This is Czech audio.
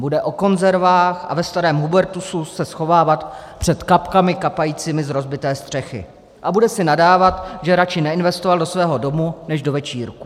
Bude o konzervách a ve starém hubertusu se schovávat před kapkami kapajícími z rozbité střechy a bude si nadávat, že radši neinvestoval do svého domu než do večírků.